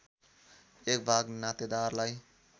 एक भाग नातेदारलाई